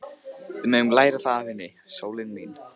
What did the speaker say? Við megum læra það af henni, sólin mín.